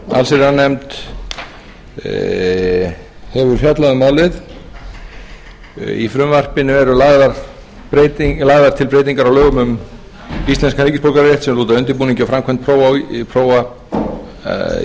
allsherjarnefnd hefur fjallað um málið í frumvarpinu eru lagðar til breytingar á lögum um íslenskan ríkisborgararétt sem lúta að undirbúningi og framkvæmd prófa í